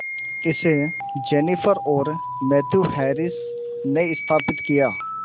इसे जेनिफर और Matthew Harris ने स्थापित किया